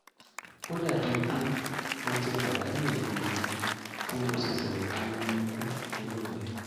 ó dàbí pé mo ti pàdánù ìgò mi tí mo ṣẹ̀ṣẹ̀ bu omi kún inú rẹ̀